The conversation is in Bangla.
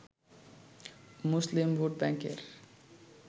মুসলিম ভোটব্যাঙ্কের